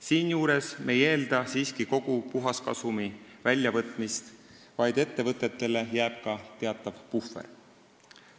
Siinjuures ei eelda me siiski kogu puhaskasumi väljavõtmist, vaid ettevõtetele jääb teatav puhver.